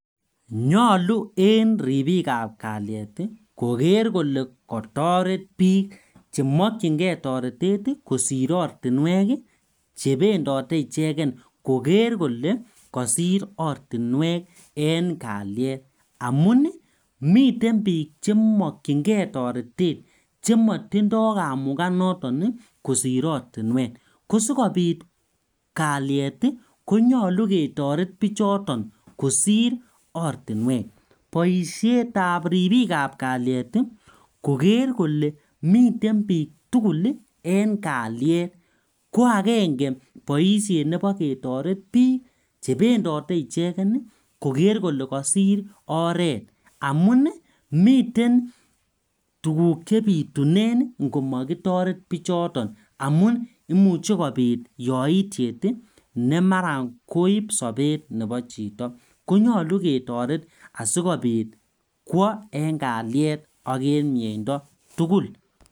Nyolu en ribikab kaliet ii koker koke kotoret bik chemokyingee toretet ii kosir ortinwek ii chebendote icheken koker kole kosir ortinwek en kaliet amun ii miten bik chemokyingee toretet chemotindo kamukanoton ii kosir ortinwek kosikobit kaliet ii konyolu ketoret bichoton kosir ortinwek boisietab ribikab kaliet ii koker kole miten bik tygul en kaliet ko agenge boishet nebo ketoret bik chebendote icheken ii koker kole kosir oret amun miten tuguk chebitunen ingomokitoret bichoton amun imuche kobit yoitiet ii nemaran koib sobet nebo chito konyolu ketoret asikobit kwo en kaliet ok en miendo tugul .